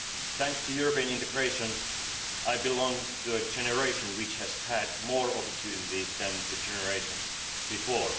Thanks to European integration, I belong to a generation which has had more opportunities than the generations before.